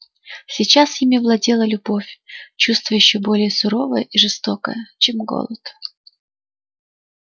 сейчас ими владела любовь чувство ещё более суровое и жестокое чем голод